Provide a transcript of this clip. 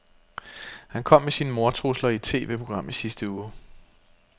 Han kom med sine mordtrusler i et TVprogram i sidste uge.